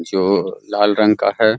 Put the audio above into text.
जो लाल रंग का है ।